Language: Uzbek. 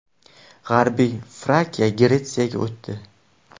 G‘arbiy Frakiya Gretsiyaga o‘tdi.